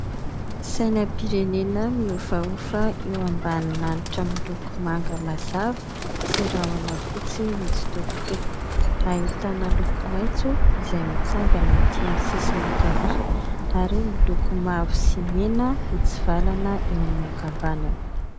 Sainam-pirenena mihofahofa eo ambany lanitra miloko manga mazava sy rahona fotsy mitsitokotoko. Ahitana loko maitso izay mitsangana ety amin'ny sisiny ankavia ary miloko mavo sy mena mitsivalana eo amin'ny ankavanana.